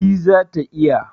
E, zata iya.